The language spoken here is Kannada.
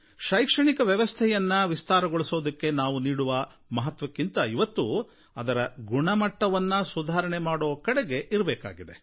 ಶೈಕ್ಷಣಿಕ ವ್ಯವಸ್ಥೆಯನ್ನು ವಿಸ್ತಾರಗೊಳಿಸುವುದಕ್ಕೆ ನಾವು ನೀಡುವ ಮಹತ್ವಕ್ಕಿಂತ ಇವತ್ತು ಅದರ ಗುಣಮಟ್ಟವನ್ನು ಸುಧಾರಣೆ ಮಾಡುವ ಕಡೆಗೆ ನೀಡಬೇಕಾಗಿದೆ